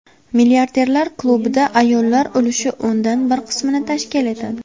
Milliarderlar klubida ayollar ulushi o‘ndan bir qismni tashkil etadi.